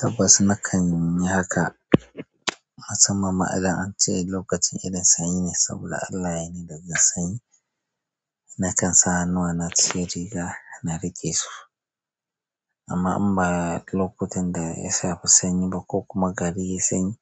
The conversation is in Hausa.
Tabbas nakan yi haka, masamman ma idan ce lokacin irin sanyi ya sabo Allah ya yini da jin sanyi. Nakan sa hannuwa na a cikin riga na riƙe su amma in ba lokutan da ya shafi sanyi ba ko kuma gari yi sanyi,